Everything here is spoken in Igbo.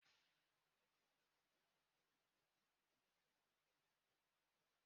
n’oge ochie, ndị okenye na-akọcha ụmụaka na-akparị ha